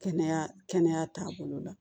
Kɛnɛya kɛnɛya taabolo la